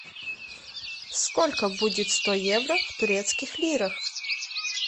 сколько будет сто евро в турецких лирах